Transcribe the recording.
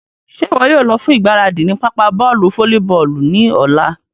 Ṣe iwọ yóò lọ fun igbaradi ni papa bọọlu folliboolu ni ọla?